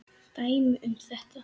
Dæmi um þetta